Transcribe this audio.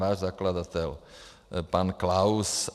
Váš zakladatel, pan Klaus.